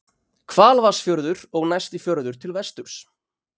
hvalvatnsfjörður og næsti fjörður til vesturs